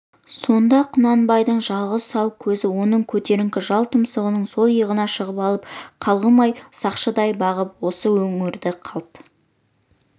сонда құнанбайдың жалғыз сау көзі оның көтеріңкі жал-тұмсығының сол иығына шығып алып қалғымай сақшыдай бағып осы өңірді қалт